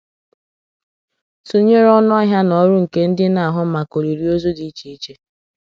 Tụnyere ọnụ ahịa na ọrụ nke ndị na-ahụ maka olili ozu dị iche iche.